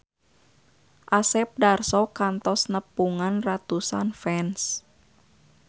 Asep Darso kantos nepungan ratusan fans